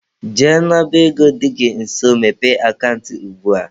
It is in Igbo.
Jee n'ọba ego dị gị nso mepee akant ugbua!.